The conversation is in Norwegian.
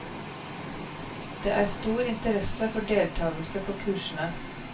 Det er stor interesse for deltakelse på kursene.